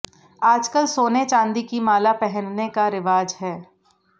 आजकल सोने चांदी की माला पहनने का रिवाज है